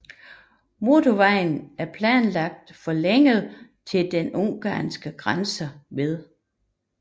Motorvejen er planlagt forlænget til den ungarske grænse ved Klingenbach